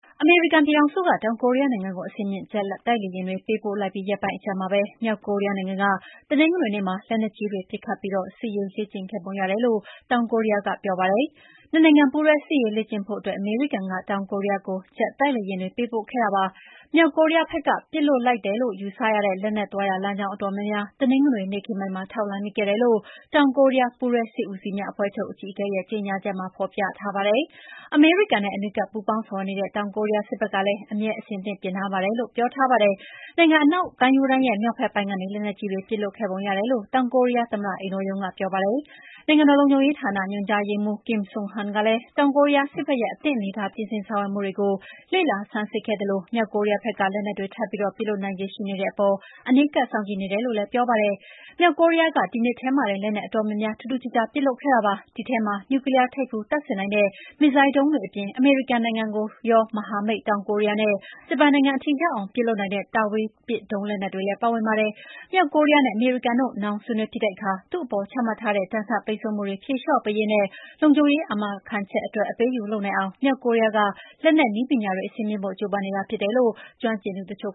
အမေရိကန်ပြည်ထောင်စုက တောင်ကိုရီးယားနိုင်ငံကို အဆင့်မြင့်ဂျက်တိုက်လေယာဉ်တွေ ပေးပို့လိုက်ပြီးရက်ပိုင်းအကြာမှာပဲ မြောက်ကိုရီးယားနိုင်ငံက တနင်္ဂနွေနေ့မှာ လက်နက်ကြီးတွေပစ်ခတ်ပြီး စစ်ရေးလေ့ကျင့်ခဲ့ပုံရတယ်လို့ တောင်ကိုရီးယားကပြောပါတယ်။ နှစ်နိုင်ငံပူးတွဲစစ်ရေးလေ့ကျင့်ဖို့အတွက် အမေရိကန်က တောင်ကိုရီးယားကို ဂျက်တိုက်လေယာဉ်တွေ ပေးပို့ခဲ့တာပါ။ မြောက်ကိုရီးယားဖက်က ပစ်လွှတ်ခဲ့တယ်လို့ ယူဆရတဲ့ လက်နက်သွားရာလမ်းကြောင်းအတော်များများ တနင်္ဂနွေနေ့ခင်းပိုင်းမှာ ထောက်လှမ်းမိခဲ့တယ်လို့ တောင်ကိုရီးယားပူးတွဲစစ်ဦးစီးများအဖွဲ့ချုပ်အကြီးအကဲရဲ့ကြေညာချက်မှာ ဖော်ပြထားပါတယ်။ အမေရိကန်နဲ့ အနီးကပ်ပူးပေါင်းဆောင်ရွက်နေတဲ့ တောင်ကိုရီးယားစစ်ဖက်ကလည်း အမြဲအသင့်ပြင်ဆင်ထားပါတယ်လို့လည်း ပြောထားပါတယ်။ နိုင်ငံအနောက်ကမ်းရိုးတန်းရဲ့ မြောက်ဖက်ပိုင်းကနေ လက်နက်ကြီးတွေပစ်လွှတ်ခဲ့ပုံရတယ်လို့ တောင်ကိုရီးယား သမ္မတအိမ်တော်ရုံးက ပြောပါတယ်။ နိုင်ငံတော်လုံခြုံရေးရာဌာန ညွှန်ကြားရေးမှူး Kim Sung-han ကလည်း တောင်ကိုရီးယားစစ်ဖက်ရဲ့ အသင့် အနေအထား ပြင်ဆင်ဆောင်ရွက်မှုတွေကို လေ့လာဆန်းစစ်ခဲ့သလို မြောက်ကိုရီးယားဖက်က လက်နက်တွေထပ် ပြီး ပစ်လွှတ်နိုင်ခြေရှိနေတဲ့အပေါ် အနီးကပ်စောင့်ကြည့်နေတယ်လို့လည်း ပြောပါတယ်။ မြောက်ကိုရီးယားက ဒီနှစ်ထဲမှာတင် လက်နက်အတော်များများ ထူးထူူးခြားခြားပစ်လွှတ်ခဲ့တာပါ။ အဲဒီထဲမှာ နျူကလီးယားထိပ်ဖူးတပ်ဆင်နိုင်တဲ့ မစ်ဇိုင်းဒုံးတွေအပြင် အမေရိကန်နိုင်ငံကိုရော မဟာမိတ် တောင်ကိုရီးယားနဲ့ဂျပန်နိုင်ငံထိရောက်အောင် ပစ်လွှတ်နိုင်တဲ့ တာဝေးပစ် ဒုံးလက်နက်တွေလည်းပါဝင်ပါတယ်။ မြောက်ကိုရီးယားနဲ့ အမေရိကန်တို့ နောင်ဆွေးနွေးဖြစ်တဲ့အခါ သူ့အပေါ်ချမှတ်ထားတဲ့ ဒဏ်ခတ်ပိတ်ဆို့မှုတွေဖြေလေ ျှာ့ပေးရေးနဲ့ လုံခြုံရေး အာမခံချက်အတွက် အပေးအယူလုပ်နိုင်အောင့်မြောက်ကိုရီးယားကလက်နက်နည်းပညာတွေအဆင့်မြှင့်ဖို့ ကျိုးပမ်းနေတာဖြစ်တယ်လို့ ကျွမ်းကျင်သူတချု့